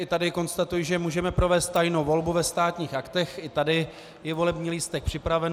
I tady konstatuji, že můžeme provést tajnou volbu ve Státních aktech, i tady je volební lístek připraven.